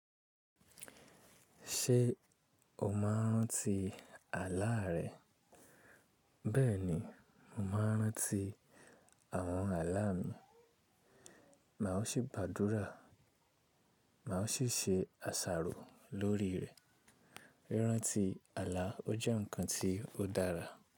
Ṣé o máa ń ranti àlaà rẹ? Bẹ́ẹ̀ni, mo máa ń ranti àwọn àlaà mi. Màá sì gbàdúrà, màá sì ṣe àṣàrò lórí rẹ̀. Rírántí àlà ó jẹ́ ǹkan tí ó dára.